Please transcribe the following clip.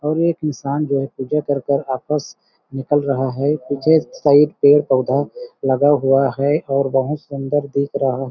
और एक इंसान जो पूजा कर के आपस निकल रहा है पीछे साइड पेड़-पौधा लगा हुआ है और बहुत सुन्दर दिख रहा--